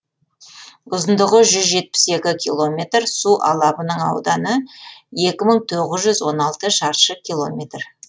ұзындығы жүз жетпіс екі километр су алабының ауданы екі мың тоғыз жүз он алты шаршы километр